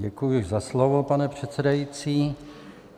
Děkuji za slovo, pane předsedající.